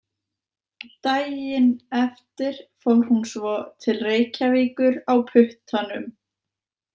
Daginn eftir fór hún svo til Reykjavíkur á puttanum.